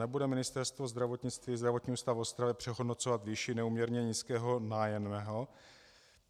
Nebude Ministerstvo zdravotnictví, Zdravotní ústav v Ostravě, přehodnocovat výši neúměrně nízkého nájemného?